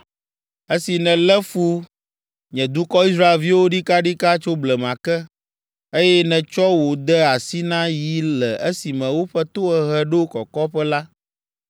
“ ‘Esi nèlé fu nye dukɔ Israelviwo ɖikaɖika tso blema ke, eye nètsɔ wo de asi na yi le esime woƒe tohehe ɖo kɔkɔƒe la,